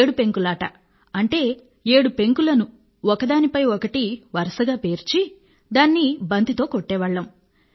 ఏడు పెంకులాట అంటే ఏడు పెంకులను ఒకదానిపై ఒకటి వరసగా పేర్చి దాన్ని బంతితో కొట్టేవాళ్ళం